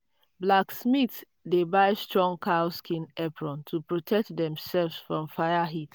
blacksmith dey buy strong cow skin apron to protect demself from fire heat.